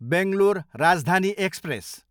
Bangalore Rajdhani express